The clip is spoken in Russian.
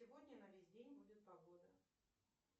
сегодня на весь день будет погода